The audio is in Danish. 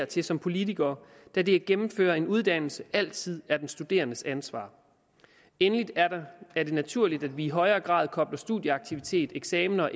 til som politikere da det at gennemføre en uddannelse altid er den studerendes ansvar endelig er det naturligt at vi i højere grad kobler studieaktivitet eksamener